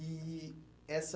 E e essa...